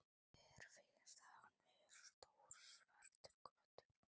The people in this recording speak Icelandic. Mér finnst hann vera stór svartur köttur.